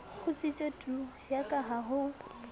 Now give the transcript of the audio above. kgutsitse tu yaka ha ho